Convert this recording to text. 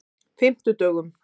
fimmtudögunum